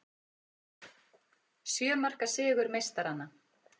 Sjö marka sigur meistaranna